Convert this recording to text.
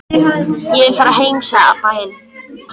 Ég vil fara heim, sagði Abba hin.